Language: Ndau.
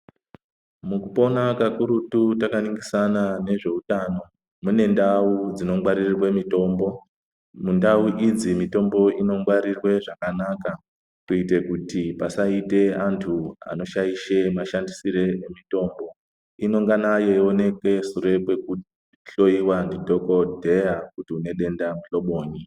Mukupona kakurutu takaningisana nezveutano, mune ndau dzinongwaririrwe mitombo. Mundau idzi mitombo inongwarirwe zvakanaka kuite kuti pasaite antu anoshaishe mashandisire emitombo. Inongana yeionekwe sure kwekuhloyiwa ndidhokodheya kuti une denda muhlobonyi.